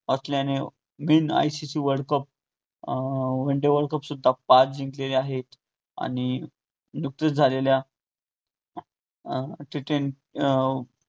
असल्याने ICC world cup अं one day world cup सुद्धा पाच जिंकलेले आहेत आणि नुकतेच झालेल्या अं T twenty